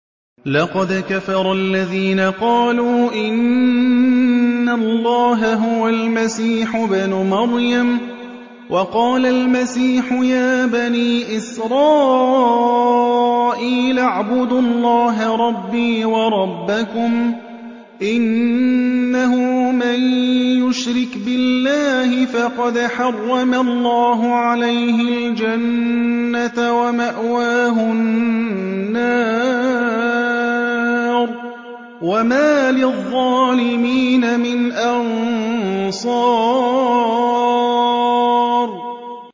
لَقَدْ كَفَرَ الَّذِينَ قَالُوا إِنَّ اللَّهَ هُوَ الْمَسِيحُ ابْنُ مَرْيَمَ ۖ وَقَالَ الْمَسِيحُ يَا بَنِي إِسْرَائِيلَ اعْبُدُوا اللَّهَ رَبِّي وَرَبَّكُمْ ۖ إِنَّهُ مَن يُشْرِكْ بِاللَّهِ فَقَدْ حَرَّمَ اللَّهُ عَلَيْهِ الْجَنَّةَ وَمَأْوَاهُ النَّارُ ۖ وَمَا لِلظَّالِمِينَ مِنْ أَنصَارٍ